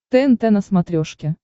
тнт на смотрешке